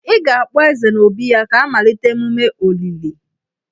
Ị ga-akpọ Eze n'obí ya ka a malite emume olili.